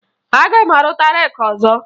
Aga m arụta reeki ọzọ